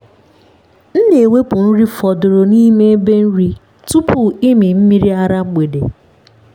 m na-ewepụ nri fọdụrụ n’ime ebe nri tupu ịmị mmiri ara mgbede.